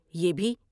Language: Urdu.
یہ بھی